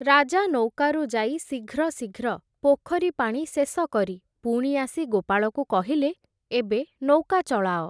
ରାଜା ନୌକାରୁ ଯାଇ ଶୀଘ୍ର ଶୀଘ୍ର ପୋଖରୀ ପାଣି ଶେଷ କରି ପୁଣି ଆସି ଗୋପାଳକୁ କହିଲେ, ଏବେ ନୌକା ଚଳାଅ ।